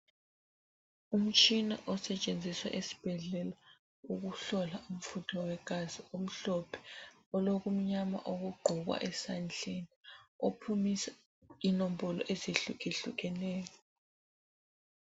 Umtshina osetshenziswa esibhedlela ukuhlola umfutho wegazi omhlophe olokumnyama okugqokwa esandleni, ophumisa inombolo ezehlukehlukeneyo.